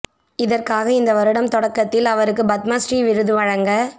இதற்காக இந்த வருடம் தொடக்கத்தில் அவருக்கு பத்ம ஸ்ரீ விருது வழங்கப்